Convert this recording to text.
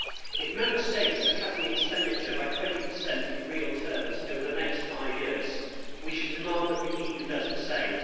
If Member States are cutting expenditure by 20 in real terms over the next five years, we should demand that the EU do the same.